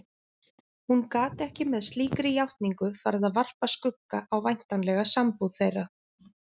Hún gat ekki með slíkri játningu farið að varpa skugga á væntanlega sambúð þeirra.